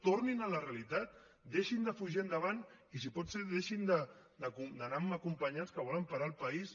tornin a la realitat deixin de fugir endavant i si pot ser deixin d’anar amb acompanyants que volen parar el país